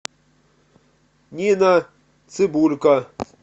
нина цыбулько